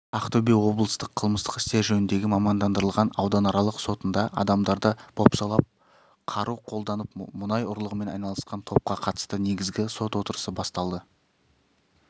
ақтөбе облыстық қылмыстық істер жөніндегі мамандандырылған ауданаралық сотында адамдарды бопсалап қару қолданып мұнай ұрлығымен айналысқан топқа қатысты негізгі сот отырысы басталды